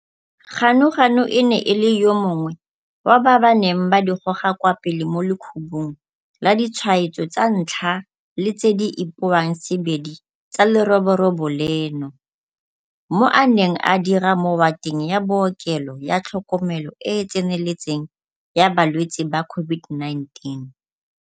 Ganuganu e ne e le yo mongwe wa ba ba neng ba di goga kwa pele mo lekhubung laditshwaetso tsa ntlha le tse di ipoangsebedi tsa leroborobo leno, mo a neng a dira mowateng ya bookelo ya tlhokomelo e e tseneletseng ya ba lwetse ba COVID-19.